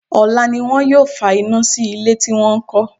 Ọ̀la ni wọn yóò fa iná sí ilé tí wọ́n kọ́.